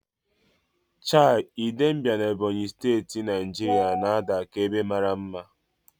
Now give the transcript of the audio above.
Chei, Idembia na Ebonyi Steti, Naijiria na-ada ka ebe mara mma.